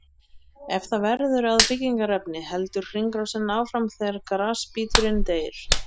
Ef það verður að byggingarefni heldur hringrásin áfram þegar grasbíturinn deyr.